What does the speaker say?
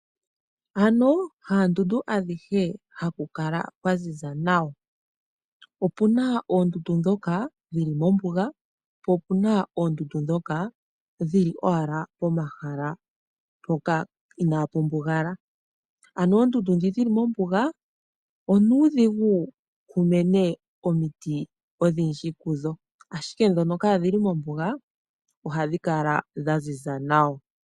Ano haandundu adhihe haku kala kwa ziza nawa, opuna oondundu ndhoka dhili mombuga, po opuna oondundu ndhoka dhili owala momahala hoka inaa ku mbugala. Ano oondundu ndhi dhili mombuga onuudhigu ku mene omiti odhindji kudho ashike ndhono kaa dhili mombuga ohadhi kala dha ziza nawa.